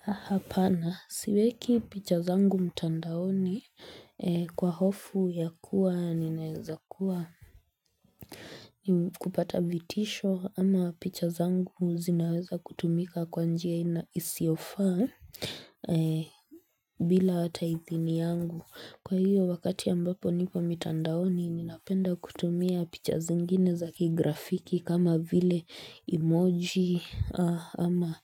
Hapana, siweki picha zangu mtandaoni kwa hofu ya kuwa ninaweza kuwa kupata vitisho ama picha zangu zinaweza kutumika kwa njia isiyofaa bila hata hithini yangu. Kwa hiyo wakati ya ambapo nipo mitandaoni ninapenda kutumia picha zingine zaki grafiki kama vile emoji ama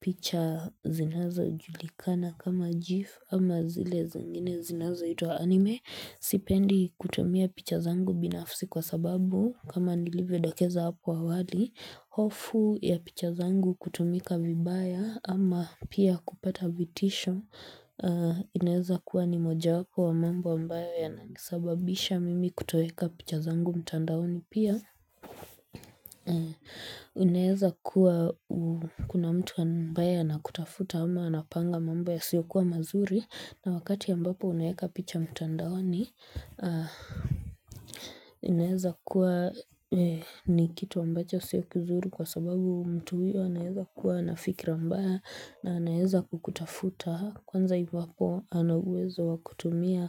picha zinazojulikana kama GIF ama zile zingine zinaza ito anime. Sipendi kutumia pichazangu binafsi kwa sababu kama nilivyo dokeza hapo awali hofu ya pichazangu kutumika vibaya ama pia kupata vitisho inaweza kuwa ni moja wapo wa mambo ambayo ya nanisababisha mimi kutoweka pichazangu mtandaoni pia inaweza kuwa kuna mtu ambaye anakutafuta ama anapanga mambo ya siyokuwa mazuri na wakati ambapo unaweka picha mtandaoni, inaeza kuwa ni kitu ambacho siyo kizuri kwa sababu mtu huyo anaweza kuwa na fikra mbaya na anaweza kukutafuta. Kwanza hivo hapo anauwezo wakutumia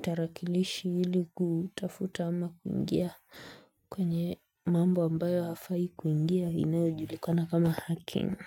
tarakilishi ili kutafuta ama kuingia kwenye mambo ambayo hafai kuingia inayojulikana kama hacking.